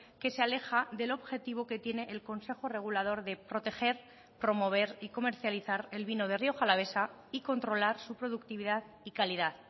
que se aleja del objetivo que tiene el consejo regulador de proteger promover y comercializar el vino de rioja alavesa y controlar su productividad y calidad